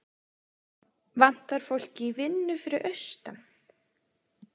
Vantar fólk í vinnu fyrir austan